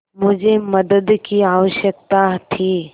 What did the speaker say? मुझे मदद की आवश्यकता थी